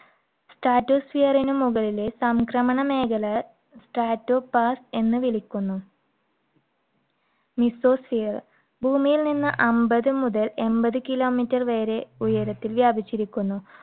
stratosphere ന് മുകളിലെ സംക്രമണ മേഖല, stratopause എന്നു വിളിക്കുന്നു. mesosphere ഭൂമിയിൽ നിന്ന് അമ്പത് മുതൽ എൺപത് kilometer വരെ ഉയരത്തിൽ വ്യാപിച്ചിരിക്കുന്നു.